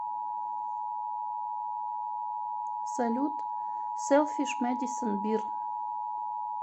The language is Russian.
салют сэлфиш мэдисон бир